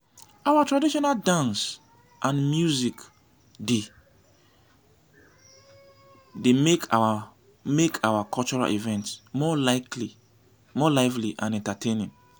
our traditional dance and music dey make our make our cultural events more lively and entertaining.